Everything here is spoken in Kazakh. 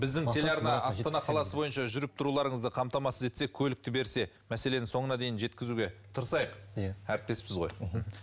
біздің телеарна астана қаласы бойынша жүріп тұруларыңызды қамтамасыз етсе мәселені соңына дейін жеткізуге тырысайық әріптеспіз ғой